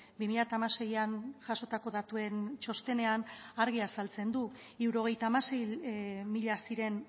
bi mila hamaseian jasotako datuen txostenean argi azaltzen du hirurogeita hamasei mila ziren